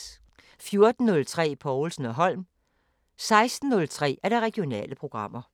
14:03: Povlsen & Holm 16:03: Regionale programmer